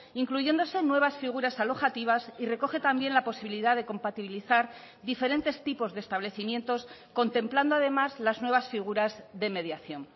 incluyéndose nuevas figuras alojativas y recoge también la posibilidad de compatibilizar diferentes tipos de establecimientos contemplando además las nuevas figuras de mediación